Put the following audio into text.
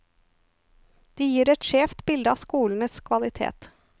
De gir et skjevt bilde av skolenes kvalitet.